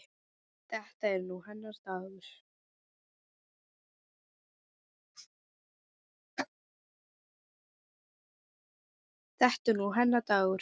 Þetta er nú hennar dagur.